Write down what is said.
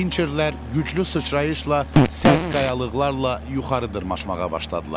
Pincherlər güclü sıçrayışla sərt qayalıqlarla yuxarı dırmaşmağa başladılar.